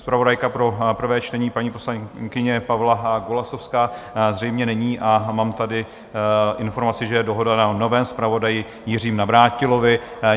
Zpravodajka pro prvé čtení, paní poslankyně Pavla Golasowská, zřejmě není a mám tady informaci, že je dohoda na novém zpravodaji Jiřím Navrátilovi.